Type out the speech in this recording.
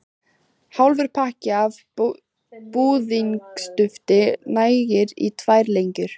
Hálfur pakki af búðingsdufti nægir í tvær lengjur.